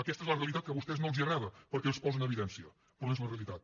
aquesta és la realitat que a vostès no els agrada perquè els posa en evidència però és la realitat